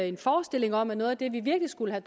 en forestilling om at noget af det vi virkelig skulle